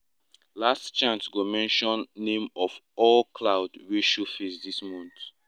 last chant go mention name of all cloud wey show face this month.